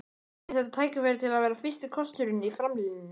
Er þetta tækifæri til að vera fyrsti kosturinn í framlínunni?